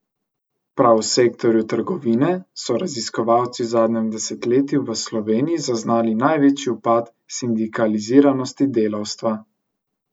Prav v sektorju trgovine so raziskovalci v zadnjem desetletju v Sloveniji zaznali največji upad sindikaliziranosti delavstva.